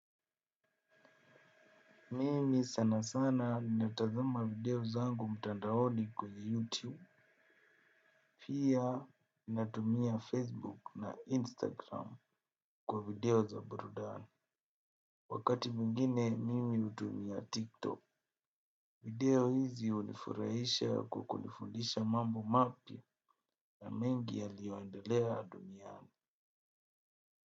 Mimi sana sana ninatazama video zangu mtandaoni kwenye YouTube. Pia natumia Facebook na Instagram kwa video za burudani. Wakati mingine mimi hutumia TikTok. Video hizi hunifuraisha kwa kunifundisha mambo mapya na mengi yaliyoendelea duniani.